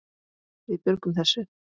Við björgum þessu.